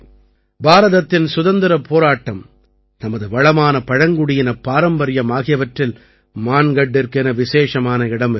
பாரதத்தின் சுதந்திரப் போராட்டம் நமது வளமான பழங்குடியினப் பாரம்பரியம் ஆகியவற்றில் மான்கட்டிற்கென விசேஷமான இடம் இருக்கிறது